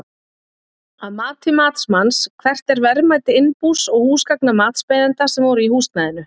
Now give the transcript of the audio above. Að mati matsmanns, hvert er verðmæti innbús og húsgagna matsbeiðanda sem voru í húsnæðinu?